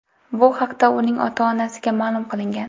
Bu haqda uning ota-onasiga ma’lum qilingan.